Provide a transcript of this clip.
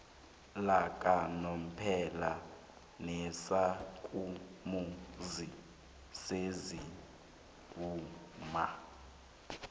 lakanomphela nezakhamuzi zesewula